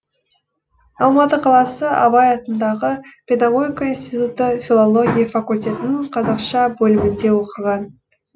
алматы қаласы абай атындағы педагогика институты филология факультетінің қазақша бөлімінде оқыған